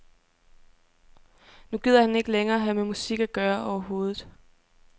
Nu gider han ikke længere have med musik at gøre overhovedet.